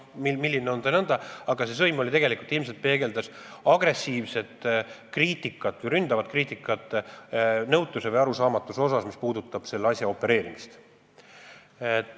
Aga see sõim peegeldas ilmselt agressiivset või ründavat kriitikat, nõutust või arusaamatust, mis puudutavad selle asja opereerimist.